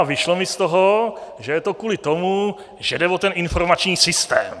A vyšlo mi z toho, že je to kvůli tomu, že jde o ten informační systém.